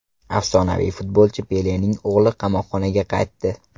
Afsonaviy futbolchi Pelening o‘g‘li qamoqxonaga qaytdi.